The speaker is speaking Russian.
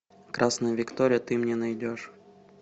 красная виктория ты мне найдешь